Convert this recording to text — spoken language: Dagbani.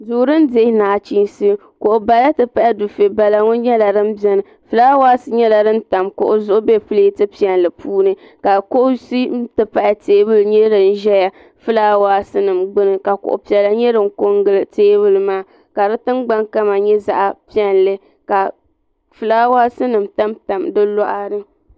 duu din dihi nachiinsi kuɣu bala ti pahi dufɛ bala ŋɔ nyɛla din biɛni fulaawaasi nyɛla din tam kuɣu zuɣu bɛ pilɛt piɛlli puuni ka kuɣusi ti pahi teebuli nyɛ din ʒɛya di ʒɛla fulaawaasi nim gbuni ka kuɣu piɛla nyɛ din kɔ n gili teebuli maa ka di tingbani kama nyɛ zaɣ piɛlli ka fulaawaasi nim tam tam di luɣa ni